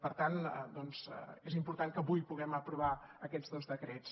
per tant doncs és important que avui puguem aprovar aquests dos decrets